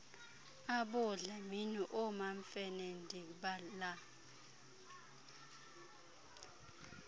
aboodlamini oomamfene ndibala